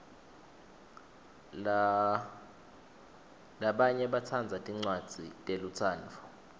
labanye batsandza tincwadzi telutsandvo